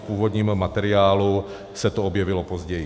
V původním materiálu se to objevilo později.